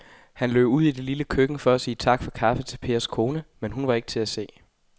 Han løb ud i det lille køkken for at sige tak for kaffe til Pers kone, men hun var ikke til at se.